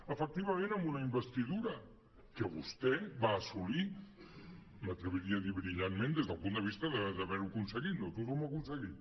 efectivament amb una investidura que vostè va assolir m’atreviria a dir brillantment des del punt de vista d’haver ho aconseguit no tothom ho ha aconseguit